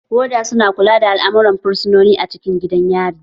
Woda su na kula da al'amuran fursunoni a cikin gidan yari.